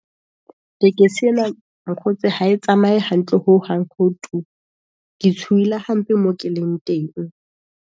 Tekesi e na mokgotsi ha e tsamaye hantle hohang, ho tu. Ke tshohile hampe moo ke leng teng.